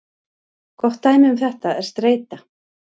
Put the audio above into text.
Gott dæmi um þetta er streita.